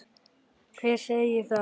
Hver segir það?